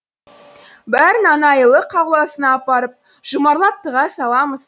бәрін анайылық ауласына апарып жұмарлап тыға саламыз